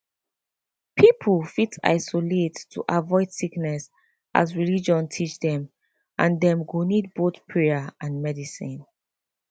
people fit isolate to avoid sickness as religion teach dem and dem go need both prayer and medicine